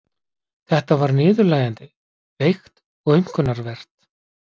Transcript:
Þetta var niðurlægjandi, veikt og aumkunarvert.